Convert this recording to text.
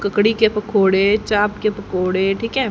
ककड़ी के पकौड़े चाप के पकौड़े ठीक है।